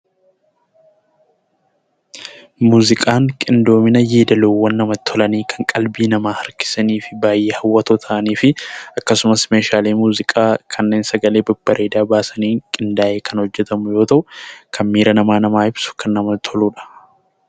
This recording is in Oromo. Muuziqaan qindoomina yeedaloowwan namatti tolanii kan qalbii namaa harkisan, baayyee hawwatoo ta'anii fi akkasumas meeshaalee muuziqaa kanneen sagalee babbareedaa baasanii qindaa'een kan hojjetamu yoo ta'u; kan miira namaa ibsuu fi kan namatti toluudha.